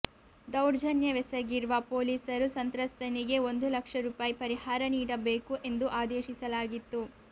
ದೌರ್ಜನ್ಯವೆಸಗಿರುವ ಪೊಲೀಸರು ಸಂತ್ರಸ್ತನಿಗೆ ಒಂದು ಲಕ್ಷ ರೂಪಾಯಿ ಪರಿಹಾರ ನೀಡಬೇಕು ಎಂದು ಆದೇಶಿಸಲಾಗಿತ್ತು